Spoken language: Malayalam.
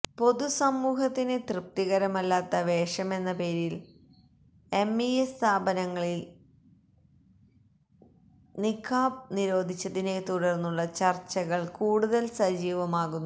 പൊതു സമൂഹത്തിന് തൃപ്തികരമല്ലാത്ത വേഷമെന്ന പേരിൽ എംഇഎസ് സ്ഥാപനങ്ങളിൽ നിഖാബ് നിരോധിച്ചതിനെത്തുടർന്നുള്ള ചർച്ചകൾ കൂടതൽ സജീവമാകുന്നു